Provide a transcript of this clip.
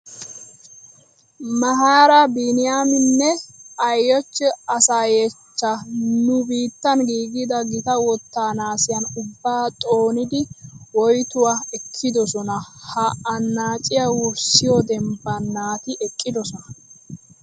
Mahaari Biiniyaminne Aayichcho Asaayechcha nu biittan giigida gita wottaa naasiyan ubbaa xoonidi woytuwa ekkidosona. Ha annaaciya wurssiyo dembban naati eqqidosona.